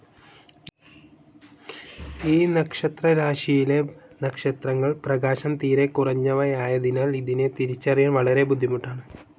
ഈ നക്ഷത്രരാശിയിലെ നക്ഷത്രങ്ങൾ പ്രകാശം തീരെക്കുറഞ്ഞവയായതിനാൽ ഇതിനെ തിരിച്ചറിയാൻ വളരെ ബുദ്ധിമുട്ടാണ്‌.